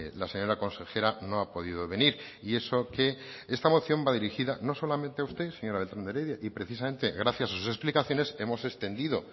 la señora consejera no ha podido venir y eso que esta moción va dirigida no solamente a usted señora beltran de heredia y precisamente gracias a sus explicaciones hemos extendido